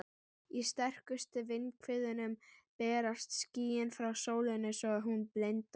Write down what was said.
Í sterkustu vindhviðunum berast skýin frá sólinni svo hún blindar.